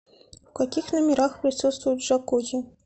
в каких номерах присутствует джакузи